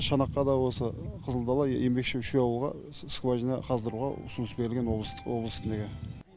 шанаққа да осы қызылдала еңбекші үш ауылға скважина қаздыруға ұсыныс берілген облыстық облыстық неге